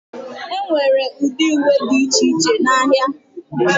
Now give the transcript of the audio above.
Enwere ụdị uwe dị iche iche n'ahịa.